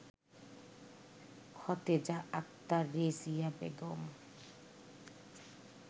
Khateja Akhtar, Rezia Begum